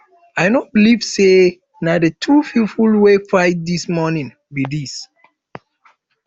i no believe say na the two people wey fight dis morning be dis